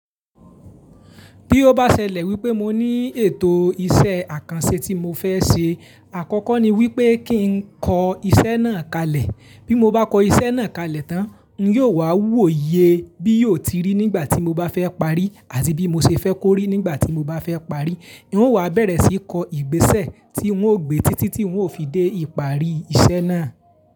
Bí ó bá ṣẹlẹ̀ wípé mo ní ètò iṣẹ́ àkànṣe tí mo fẹ́ ṣe, àkọ́kọ́ ni wípé kí n kọ iṣẹ́ náà kalẹ̀. Bí mo bá kọ iṣẹ́ náà kalẹ̀ tán, n yóò wá wòye bí yóò ti rí nígbà tí mo bá fẹ́ parí, àti bí mo ṣe fẹ́ kó rí nígbà tí mo bá fẹ́ parí. N ó wá bẹ̀rẹ̀ sí kọ ìgbésẹ̀ tí ń óò gbe títí tí ń óò fi dé ìparí iṣẹ́ náà.